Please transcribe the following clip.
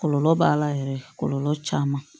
Kɔlɔlɔ b'a la yɛrɛ kɔlɔlɔ caman